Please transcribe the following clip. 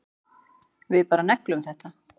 Við bara negldum þetta